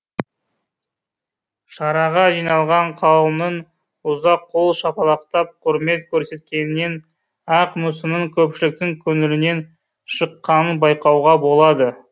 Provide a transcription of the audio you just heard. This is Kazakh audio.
шараға жиналған қауымның ұзақ қол шапалақтап құрмет көрсеткенінен ақ мүсіннің көпшіліктің көңілінен шыққанын байқауға болады